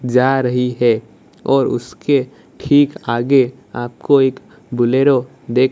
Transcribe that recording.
जा रही है और उसके ठीक आगे आपको एक बुलेरो देख --